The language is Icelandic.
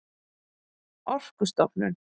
orkustofnun